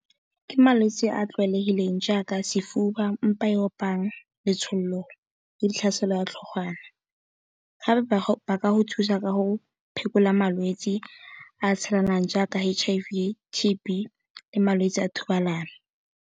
Ke malwetse a a tlwaelegileng jaaka sefuba, mpa e opang, letsholo le tlhaselo ya tlhogwana. Gape ba ka go thusa ka go phekola malwetsi a tshelanang jaaka H_I_V, T_B le malwetsi a thobalano.